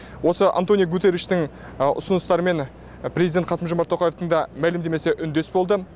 осы антониу гуттериштің ұсыныстарымен президенті қасым жомарт тоқаевтың да мәлімдемесі үндес болды